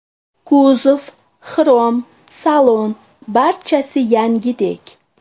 Kuzov, xrom, salon barchasi yangidek.